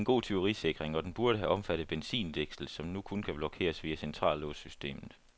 Det er en god tyverisikring, og den burde have omfattet benzindækslet, som nu kun blokeres via centrallåssystemet.